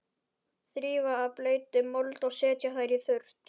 Þrífa af bleytu og mold og setja þær í þurrt.